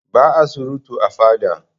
Ba'a surutu a fada.